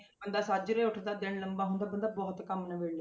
ਬੰਦਾ ਸਾਜਰੇ ਉੱਠਦਾ ਦਿਨ ਲੰਬਾ ਹੁੰਦਾ ਬੰਦਾ ਬਹੁਤ ਕੰਮ ਨਿਬੇੜ ਲੈਂਦਾ।